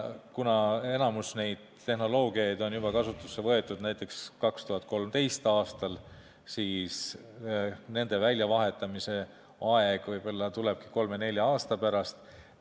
Kuna enamik neid tehnoloogiaid on kasutusele võetud juba näiteks 2013. aastal, siis nende väljavahetamise aeg võib-olla tulebki kolme-nelja aasta pärast.